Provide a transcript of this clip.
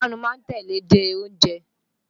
Ìpapánu ma ń tẹ́lẹ̀ dẹ oúnjẹ.